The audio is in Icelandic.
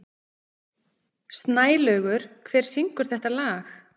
Snælaugur, hver syngur þetta lag?